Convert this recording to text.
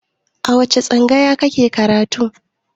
A wace tsangaya kike karatu?